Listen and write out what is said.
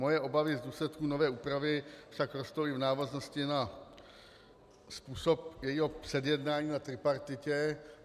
Moje obavy z důsledků nové úpravy však rostou i v návaznosti na způsob jejího předjednání na tripartitě.